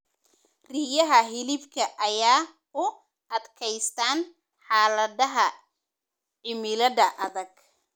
Riyaha hilibka ayaa u adkaysta xaaladaha cimilada adag.